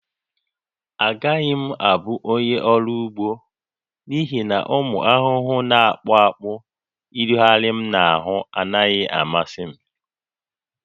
Agaghị m abụ onye ọrụ ugbo n'ihi na ụmụ ahụhụ na-akpụ akpụ ịrịgharị m n'ahụ anaghị amasị m